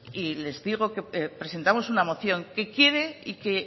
y les digo que presentamos una moción que quiere y que